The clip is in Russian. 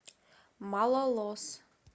малолос